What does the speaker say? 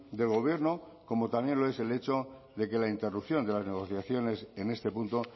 del gobierno como también lo es el hecho de que la interrupción de la negociaciones en este punto